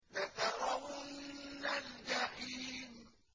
لَتَرَوُنَّ الْجَحِيمَ